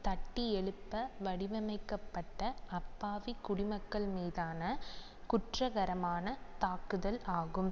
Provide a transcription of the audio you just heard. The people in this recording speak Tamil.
தட்டி எழுப்ப வடிவமைக்கப்பட்ட அப்பாவி குடி மக்கள் மீதான குற்றகரமான தாக்குதல் ஆகும்